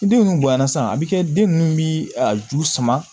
Ni den minnu bonyana sisan a bɛ kɛ den ninnu bi a ju sama